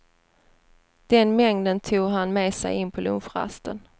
Den mängden tog han med sig in på lunchrasten.